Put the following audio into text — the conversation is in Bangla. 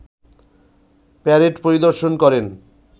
প্যারেড পরিদর্শন করেন